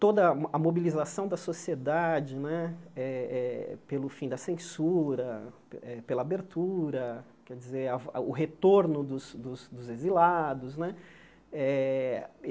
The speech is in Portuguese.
Toda a mobilização da sociedade né eh eh pelo fim da censura, eh pela abertura, quer dizer a o retorno dos dos dos exilados né. Eh